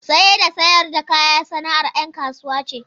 Saye da sayar da kaya sana’ar ‘yan kasuwa ce.